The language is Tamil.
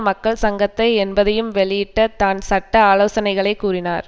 மக்கள் சங்கத்தை என்பதையும் வெளியிட்ட தான் சட்ட ஆலோசனைகளை கூறினார்